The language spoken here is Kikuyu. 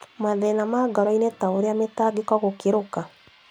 Mathĩna ma ngoro-inĩ ta ũrĩa mĩtangĩko gũkĩruka.